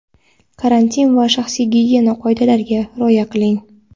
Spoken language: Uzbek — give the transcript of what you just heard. karantin va shaxsiy gigiyena qoidalariga rioya qiling.